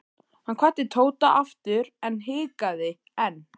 Hann kvaddi Tóta aftur EN en hikaði enn.